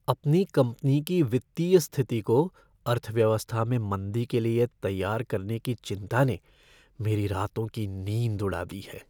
अपनी कंपनी की वित्तीय स्थिति को अर्थव्यवस्था में मंदी के लिए तैयार करने की चिंता ने मेरी रातों की नींद उड़ा दी है।